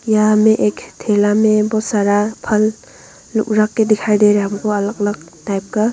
यहां में एक ठेला में बहोत सारा फल लोग रख के दिखाई दे रहा है हमको अलग अलग टाइप का।